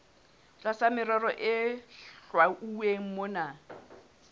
tlasa merero e hlwauweng mona